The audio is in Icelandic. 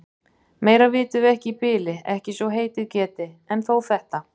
Meira vitum við ekki í bili, ekki svo heitið geti. en þó þetta.